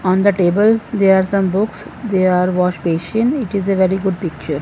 on the table there are the books they are wash basin it is a very good picture.